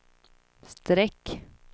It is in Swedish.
streck